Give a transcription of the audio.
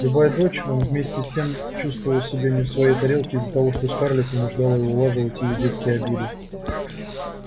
любая дочь он вместе с тем чувствовал себя не в своей тарелке из-за того что скарлетт вынуждала его улаживать её детские беды